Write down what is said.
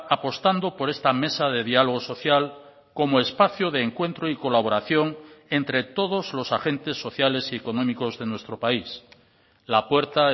apostando por esta mesa de diálogo social como espacio de encuentro y colaboración entre todos los agentes sociales y económicos de nuestro país la puerta